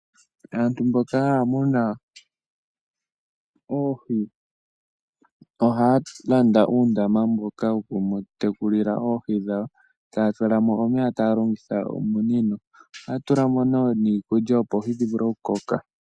Aantu mboka haa muna oohi oha landa uundama mboka woku tekulila oohi dhawo. Taya tulamo omeya taya longitha ominino. Oha tulamo wo niikulya opo oohi dhi vule oku koka.